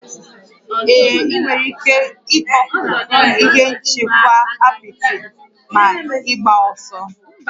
Ee, ị nwere ike ịtọpụ ihe nchekwa apịtị ma ịgbaa ọsọ